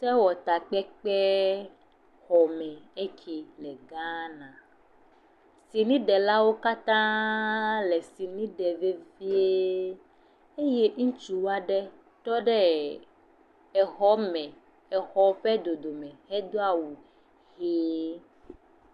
Sewɔtakpekpe xɔme eke le Ghana. Siniɖelawo katã le sini ɖe le fie eye ŋutsu aɖe tɔ ɖe exɔ me me exɔ ƒe dodo hedo aweu ʋi.